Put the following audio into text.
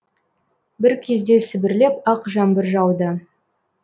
бір кезде сібірлеп ақ жаңбыр жауды